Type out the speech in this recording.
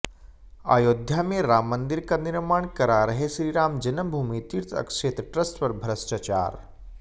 अयोध्या में राम मंदिर का निर्माण करा रहे श्रीराम जन्मभूमि तीर्थ क्षेत्र ट्रस्ट पर भ्रष्टाचार